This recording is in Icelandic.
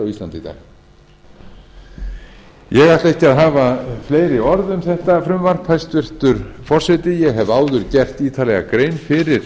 í dag ég ætla ekki að hafa fleiri orð um frumvarpið hæstvirtur forseti ég hef áður gert ítarlega grein fyrir